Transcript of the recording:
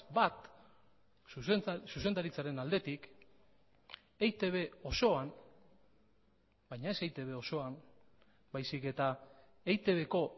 bat zuzendaritzaren aldetik eitb osoan baina ez eitb osoan baizik eta eitbko